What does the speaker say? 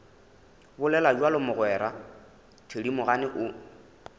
bolela bjalo mogwera thedimogane o